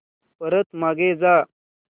परत मागे जा